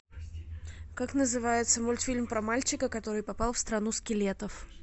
как называется мультфильм про мальчика который попал в страну скелетов